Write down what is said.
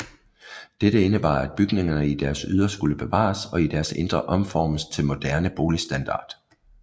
Dette indebar at bygningerne i deres ydre skulle bevares og i deres indre omformes til moderne boligstandard